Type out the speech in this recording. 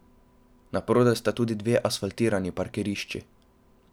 Naprodaj sta tudi dve asfaltirani parkirišči.